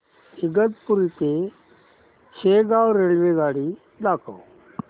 इगतपुरी ते शेगाव रेल्वेगाडी दाखव